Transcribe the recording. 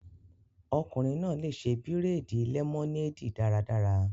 Ọkùnrin náà lè ṣe bírèèdì lẹmọneedi daradara